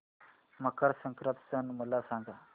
मकर संक्रांत सण मला सांगा